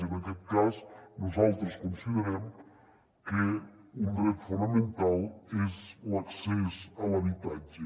i en aquest cas nosaltres considerem que un dret fonamental és l’accés a l’habitatge